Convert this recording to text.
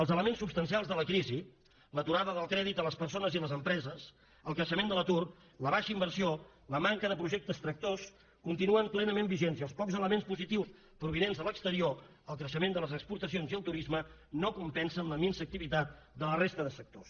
els elements substancials de la crisi l’aturada del crèdit a les persones i les empreses el creixement de l’atur la baixa inversió la manca de projectes tractors continuen plenament vigents i els pocs elements positius provinents de l’exterior el creixement de les exportacions i el turisme no compensen la minsa activitat de la resta de sectors